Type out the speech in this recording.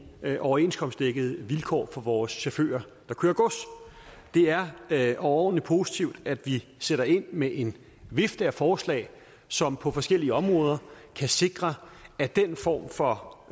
overenskomstdækkede vilkår for vores chauffører der kører gods det er overordentlig positivt at vi sætter ind med en vifte af forslag som på forskellige områder kan sikre at den form for